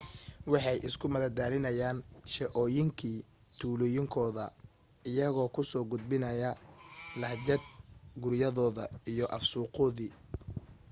waxay isku madadaalinayeen sheeooyinkii tuulooyinkooda iyagoo ku soo gudbinayay lahjad guriyadooda iyo af suuqoodii